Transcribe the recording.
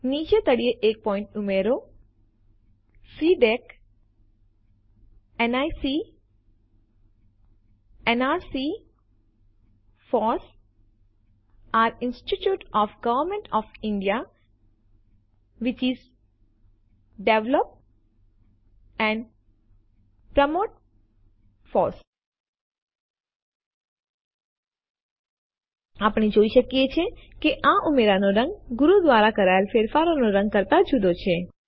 નીચે તળિયે એક પોઈન્ટ ઉમેરો CDAC NIC nrc FOSS are institutions of government of India which develop and promote FOSS આપણે જોઈ શકીએ છીએ કે આ ઉમેરાનો રંગ ગુરુ દ્વારા કરાયેલ ફેરફારોના રંગ કરતા જુદો છે